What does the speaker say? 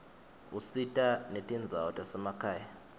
usita netindzawo tasemakhaya